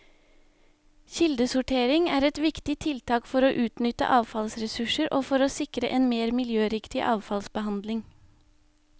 Kildesortering er et viktig tiltak for å utnytte avfallsressurser og for å sikre en mer miljøriktig avfallsbehandling.